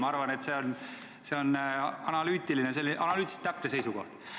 Ma arvan, et see on analüütiliselt täpne seisukoht.